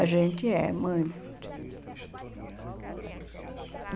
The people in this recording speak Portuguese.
A gente é, muito.